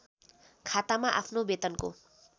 खातामा आफ्नो बेतनको